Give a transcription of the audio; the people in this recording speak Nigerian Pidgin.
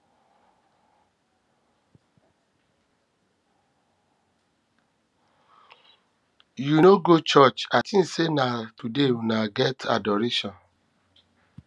you no go churuch i think say na today una get adoration